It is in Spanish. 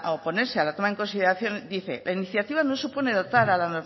oponerse a la toma de consideración dice la iniciativa no supone dotar a la